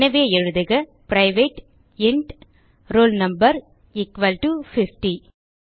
எனவே எழுதுக பிரைவேட் இன்ட் ரோல் no50